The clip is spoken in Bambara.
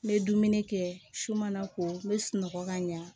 N bɛ dumuni kɛ su mana ko n bɛ sunɔgɔ ka ɲa